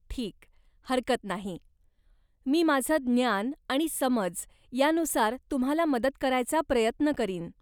ठीक, हरकत नाही. मी माझं ज्ञान आणि समज यानुसार तुम्हाला मदत करायचा प्रयत्न करीन.